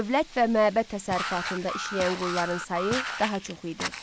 Dövlət və məbəd təsərrüfatında işləyən qulların sayı daha çox idi.